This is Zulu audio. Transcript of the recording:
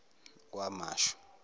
kwamashu